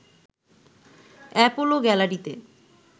Apollo গ্যালারিতে